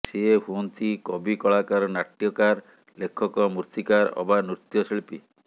ସେ ହୁଅନ୍ତି କବି କଳାକାର ନାଟ୍ୟକାର ଲେଖକ ମୂର୍ତ୍ତିକାର ଅବା ନୃତ୍ୟଶିଳ୍ପୀ